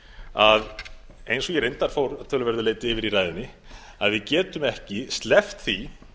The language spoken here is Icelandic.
að eins og ég reyndar fór að töluverðu leyti yfir í ræðunni að við getum ekki sleppt því